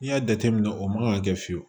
N'i y'a jateminɛ o man ka kɛ fiyewu